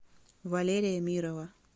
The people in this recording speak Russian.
валерия мирова